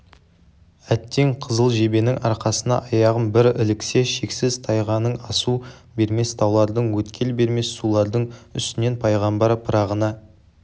әттең қызыл жебенің арқасына аяғым бір іліксе шексіз тайғаның асу бермес таулардың өткел бермес сулардың үстінен пайғамбар пырағына